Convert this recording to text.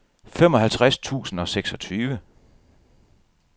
femoghalvtreds tusind og seksogtyve